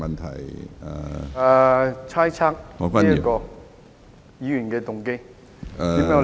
他猜測議員的動機。